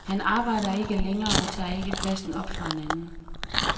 Han arbejder ikke længere og tager ikke pladsen op for en anden.